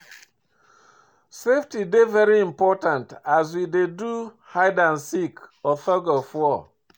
safety dey very important as we dey do hide and seek or thug of war